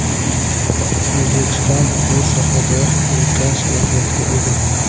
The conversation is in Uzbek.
O‘zbekiston bu sohada ulkan salohiyatga ega.